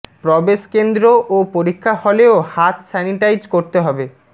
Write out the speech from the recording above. প্রবেশ কেন্দ্র ও পরীক্ষা হলেও হাত স্যানিটাইজ করতে হবে